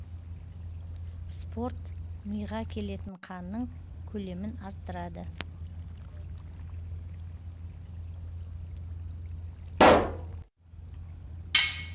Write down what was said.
спорт миға келетін қанның көлемін арттырады